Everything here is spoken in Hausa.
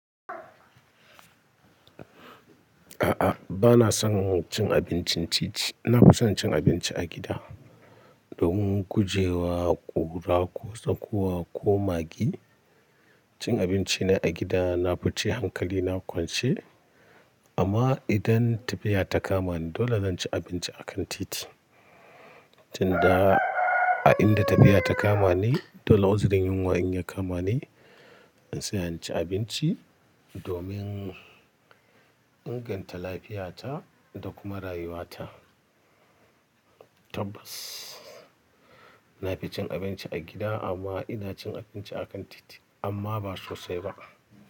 A'a, bana son cin abincin titi. Na fi son cin abinci a gida domin gujewa ƙura ko tsakuwa ko maggi. Cin abinci na a gida na fi ce hankali, na ƙwanche. Amma idan tafiya ta kama ni, dole zan ci abinci a kan titi. Tun da, a inda tafiya ta kama ni, dole uzirin yunwa in ya kama ni, in tsaya in ci abinci domin inganta lafiyata da kuma rayuwata. Tabbas, na fi cin abinci a gida amma ina cin abinci a kan titi, amma ba sosai ba.